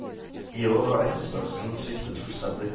I år har etterspørselen sviktet fullstendig.